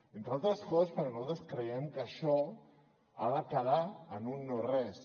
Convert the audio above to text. entre altres coses perquè nosaltres creiem que això ha de quedar en un no res